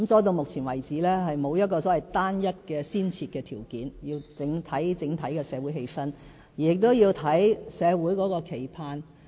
到目前為止，並沒有單一的先設條件，而是要視乎整體的社會氣氛，要視乎社會的期盼。